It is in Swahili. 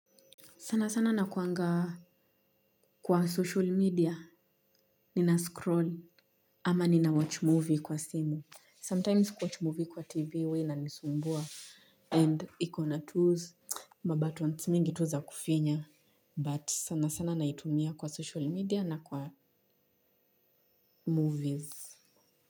Sana sana nakuangaa kwa social media, nina scroll ama nina watch movie kwa simu. Sometimes kuwatch movie kwa TV huwa inanisumbua and ikona tu mabutton mingi tu za kufinya but sana sana naitumia kwa social media na kwa movies.